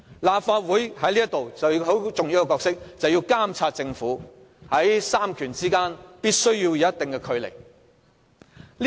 立法會其中一個很重要的角色就是監察政府，在三權之間必須保持一定距離。